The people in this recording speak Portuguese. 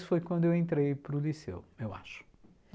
foi quando eu entrei para o liceu, eu acho.